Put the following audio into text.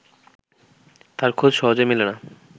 তার খোঁজ সহজে মেলে না